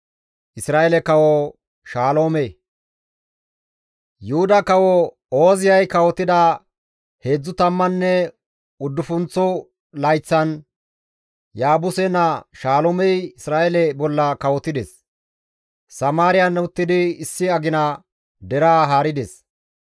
Yuhuda kawo Ooziyay kawotida heedzdzu tammanne uddufunththo layththan Yaabuse naa Shaloomey Isra7eele bolla kawotides. Samaariyan uttidi issi agina deraa haarides.